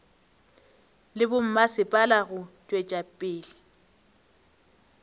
le bommasepala go tšwetša pele